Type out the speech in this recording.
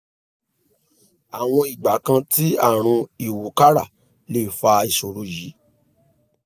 àwọn ìgbà kan tí àrùn ìwúkàrà lè fa ìṣòro yìí